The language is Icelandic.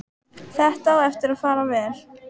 Þetta á eftir að fara vel.